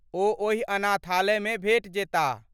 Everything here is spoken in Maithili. ओ ओहि अनाथालयमे भेटि जेताह।